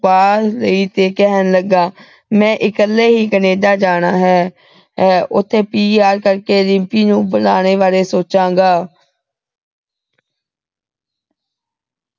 ਪਾ ਲਈ ਤੇ ਕਹਿਣ ਲੱਗਾ ਮੈਂ ਇਕੱਲੇ ਹੀ ਕਨੇਡਾ ਜਾਣਾ ਹੈ ਅਹ ਉਥੇ p r ਕਰਕੇ ਰਿੰਪੀ ਨੂੰ ਬੁਲਾਣੇ ਬਾਰੇ ਸੋਚਾਂਗਾ